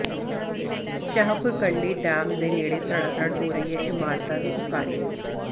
Shahpur Kandi dam ਦੇ ਨੇੜੇ ਧੜਾਧੜ ਹੋ ਰਹੀ ਹੈ ਇਮਾਰਤਾਂ ਦੀ ਉਸਾਰੀ